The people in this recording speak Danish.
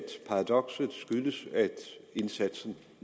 paradokset skyldes at indsatsen